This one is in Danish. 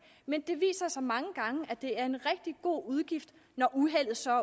men det viser sig mange gange at det er en rigtig god udgift når uheldet så